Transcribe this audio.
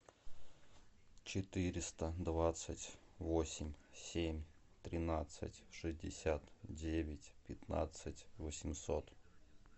четыреста двадцать восемь семь тринадцать шестьдесят девять пятнадцать восемьсот